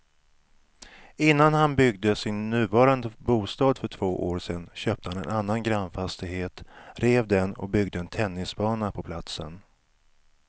Innan han byggde sin nuvarande bostad för två år sedan köpte han en annan grannfastighet, rev den och byggde en tennisbana på platsen.